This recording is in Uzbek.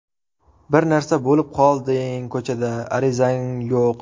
Bir narsa bo‘lib qolding ko‘chada, arizang yo‘q.